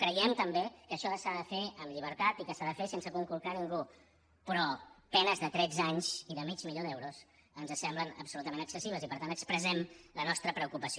creiem també que això s’ha de fer amb llibertat i que s’ha de fer sense conculcar ningú però penes de tretze anys i de mig milió d’euros ens semblen absolutament excessives i per tant expressem la nostra preocupació